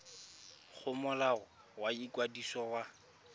go molao wa ikwadiso wa